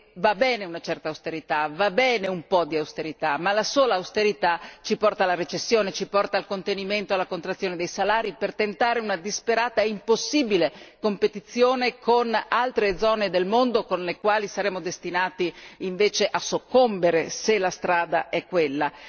Perché va bene una certa austerità, va bene un po' di austerità, ma la sola austerità ci porta alla recessione, ci porta al contenimento e alla contrazione dei salari per tentare una disperata e impossibile competizione con altre zone del mondo, con le quali saremo destinati invece a soccombere se la strada è quella.